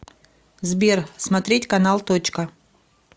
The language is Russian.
сбер смотреть канал точка